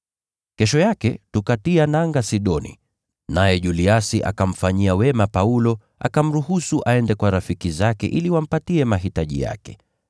Kesho yake tukatia nanga Sidoni, naye Juliasi akamfanyia wema Paulo, akamruhusu aende kwa rafiki zake ili wamtimizie mahitaji yake.